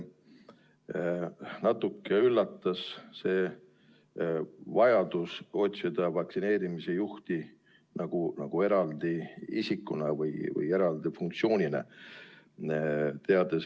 Natuke üllatas see vajadus otsida vaktsineerimise juhti nagu eraldi ametiisikuna või eraldi funktsiooni täitjana.